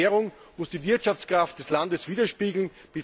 Eine Währung muss die Wirtschaftskraft des Landes widerspiegeln.